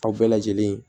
Aw bɛɛ lajɛlen